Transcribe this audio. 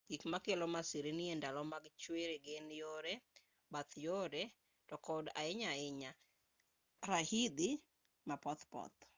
gik makelo masirni e ndalo mag chwiri gin yore bath yore to kod ahinya ahinya raidhi ma pothpoth